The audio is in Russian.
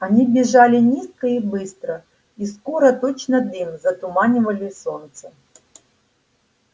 они бежали низко и быстро и скоро точно дым затуманивали солнце